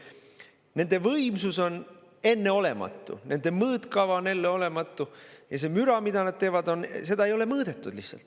Nende võimsus on enneolematu, nende mõõtkava on enneolematu ja seda müra, mida nad teevad, ei ole lihtsalt mõõdetud.